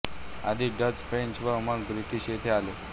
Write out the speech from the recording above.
आधी Dutch French व मग ब्रिटिश येथे आले